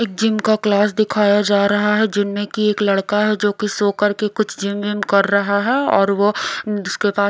एक जिम का क्लास दिखाया जा रहा है जिनमें कि एक लड़का है जो कि सो करके कुछ जिम विम कर रहा है और वो उसके पास--